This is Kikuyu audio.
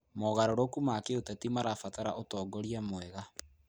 Mogarũrũku ma kĩũteti marabatara ũtongoria mwega.